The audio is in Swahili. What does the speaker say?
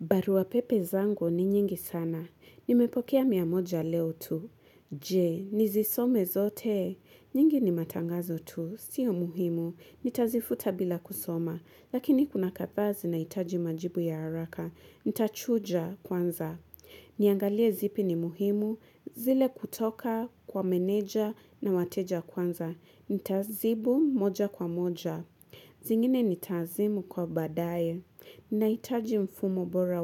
Baruwa pepe zangu ni nyingi sana. Nimepokea mia moja leo tu. Jee, nizisome zote. Nyingi ni matangazo tu. Sio muhimu. Nitazifuta bila kusoma. Lakini kuna kadha zinaitaji majibu ya haraka. Nitachuja kwanza. Niangalie zipi ni muhimu. Zile kutoka kwa meneja na wateja kwanza. Nitazibu moja kwa moja. Zingine nitazimu kwa badaye. Naitaji mfumo bora